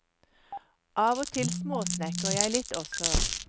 Av og til småsnekrer jeg litt også.